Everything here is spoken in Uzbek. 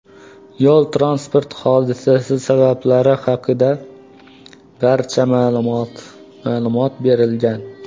Yo‘l-transport hodisasi sabablari haqida hozircha ma’lumot berilmagan.